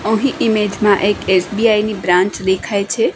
અહીં ઇમેજ મા એક એસ_બી_આઈ ની બ્રાંચ દેખાય છે.